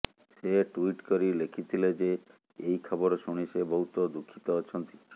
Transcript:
ସେ ଟ୍ୱିଟ୍ କରି ଲେଖିଥିଲେ ଯେ ଏହି ଖବର ଶୁଣି ସେ ବହୁତ ଦୁଃଖିତ ଅଛନ୍ତି